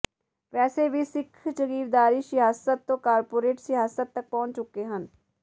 ਵੈਸੇ ਵੀ ਸਿੱਖ ਜਗੀਰਦਾਰੀ ਸਿਆਸਤ ਤੋਂ ਕਾਰਪੋਰੇਟ ਸਿਆਸਤ ਤਕ ਪਹੁੰਚ ਚੁੱਕੇ ਹਨ